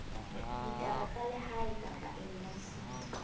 ditaba tsa lehae kapa embasing